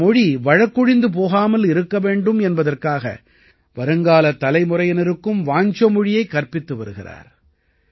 இந்த மொழி வழக்கொழிந்து போகாமல் இருக்க வேண்டும் என்பதற்காக வருங்காலத் தலைமுறையினருக்கும் வாஞ்சோ மொழியைக் கற்பித்து வருகிறார்